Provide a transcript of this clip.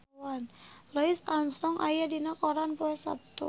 Louis Armstrong aya dina koran poe Saptu